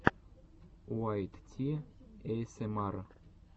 уайт ти эйэсэмар